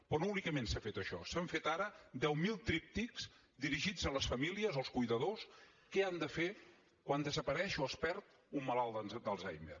però no únicament s’ha fet això s’han fet ara deu mil tríptics dirigits a les famílies als cuidadors què han de fer quan desapareix o es perd un malalt d’alzheimer